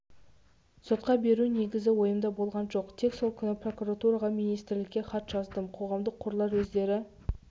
сотқа беру негізі ойымда болған жоқ тек сол күні прокуратураға министрікке хат жаздым қоғамдық қорлар өздері